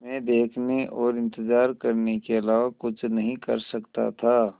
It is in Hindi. मैं देखने और इन्तज़ार करने के अलावा कुछ नहीं कर सकता था